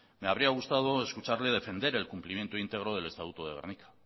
me habría gustado escucharle defender el cumplimiento íntegro del estatuto de gernika